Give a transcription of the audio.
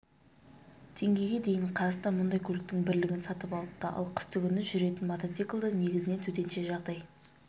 теңгеге дейін қазақстан мұндай көліктің бірлігін сатып алыпты ал қыстыгүні жүретін мотоциклді негізінен төтенше жағдай